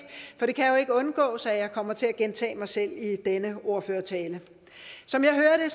for det kan jo ikke undgås at jeg kommer til at gentage mig selv i denne ordførertale som jeg hører det